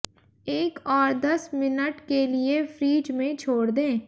एक और दस मिनट के लिए फ्रिज में छोड़ दें